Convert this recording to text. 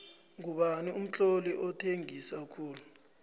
ngubani umtloli othengisa khulu